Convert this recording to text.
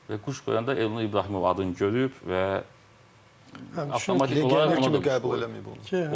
Və quş qoyanda Elnur İbrahimov adını görüb və avtomatik olaraq onu legioner kimi qəbul eləyib.